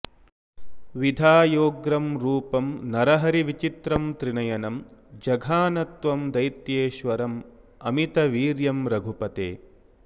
विधायोग्रं रूपं नरहरिविचित्रं त्रिनयनं जघान त्वं दैत्येश्वरममितवीर्यं रघुपते